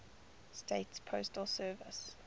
states postal service